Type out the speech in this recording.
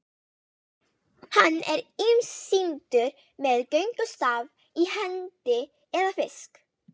Hann er ýmist sýndur með göngustaf í hendi eða fisk.